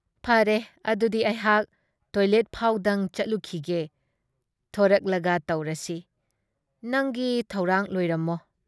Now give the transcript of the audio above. ꯐꯔꯦ ꯑꯗꯨꯗꯤ ꯑꯩꯍꯥꯛ ꯇꯣꯏꯂꯦꯠ ꯐꯥꯎꯕꯗꯪ ꯆꯪꯂꯨꯈꯤꯒꯦ ꯫ ꯊꯔꯛꯂꯒ ꯇꯧꯔꯁꯤ ꯫ ꯅꯪꯒꯤ ꯊꯧꯔꯥꯡ ꯂꯣꯏꯔꯝꯃꯣ ꯫